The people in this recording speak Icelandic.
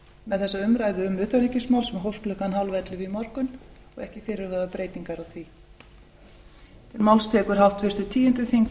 með þessa umræðu um utanríkismál sem hófst klukkan tíu þrjátíu í morgun og eru ekki fyrirhugaðar breytingar á því